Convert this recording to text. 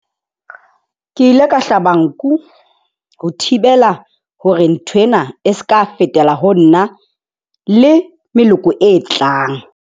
Ke ile ka hlaba nku ho thibela hore nthwena e se ka fetela ho nna le meloko e tlang.